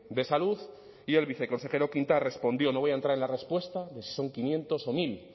de salud y el viceconsejero quintas respondió no voy a entrar en la respuesta de si son quinientos o mil